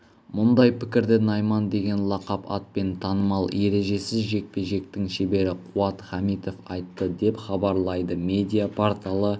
мұндай пікірді найман деген лақап атпен танымал ережесіз жекпе-жектің шебері қуат хамитов айтты деп хабарлайды медиа-порталы